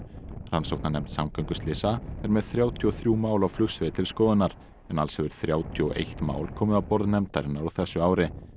rannsóknarnefnd samgönguslysa er með þrjátíu og þrjú mál á flugsviði til skoðunar en alls hefur þrjátíu og eitt mál komið á borð nefndarinnar á þessu ári